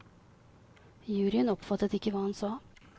Juryen oppfattet ikke hva han sa.